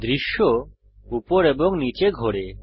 দৃশ্য উপর এবং নীচে ঘোরে